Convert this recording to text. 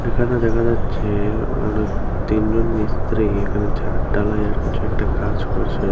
এখানে দেখা যাচ্ছে তিন জন মিস্ত্রি এখানে ছাদ ঢালাইের কিছু একটা কাজ করছে।